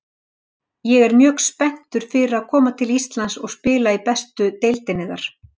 Ég er mjög spenntur fyrir að koma til Íslands og spila í bestu deildinni þar.